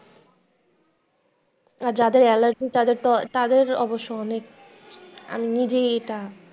যাদের এলার্জি তাদের তো, তাদের অবশ্য অনেক, আমি নিজেই এটা।